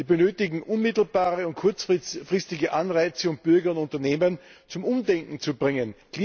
Wir benötigen unmittelbare und kurzfristige Anreize, um Bürger und Unternehmen zum Umdenken zu bringen.